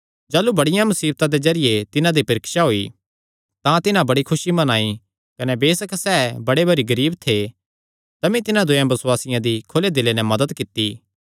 जाह़लू बड़ियां मुसीबतां दे जरिये तिन्हां दी परीक्षा होई तां तिन्हां बड़ी खुसी मनाई कने बेसक सैह़ बड़े भारी गरीब थे तमी तिन्हां दूयेयां बसुआसियां दी खुले दिले नैं मदत कित्ती